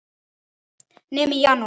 Nema í janúar.